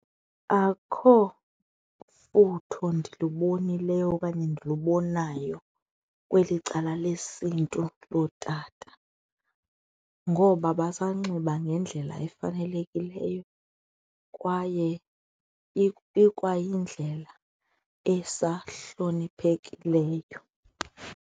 Akho mfutho ndilubonileyo okanye ndilubonayo kweli cala lesiNtu lootata ngoba basanxiba ngendlela efanelekileyo kwaye ikwayindlela esahloniphekileyo.